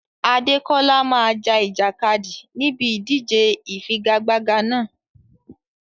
Adekola máa ja ìjàkadì níbi ìdíje ìfigagbága náà.